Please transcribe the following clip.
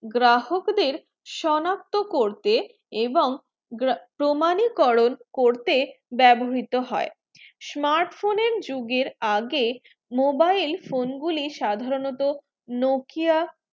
গ্রাহক দের সনাক্ত করতে এবং প্রমাণই করুন করতে বেবহৃরিত হয়ে smart phone এর যুগের আগে mobile phone গুলি সাধারনতঃ nokia